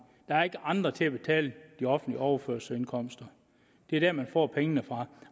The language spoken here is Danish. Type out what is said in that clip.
der er ikke andre til at betale de offentlige overførselsindkomster det er der man får pengene fra